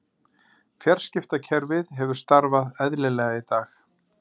Fjarskiptakerfið hefur starfað eðlilega í dag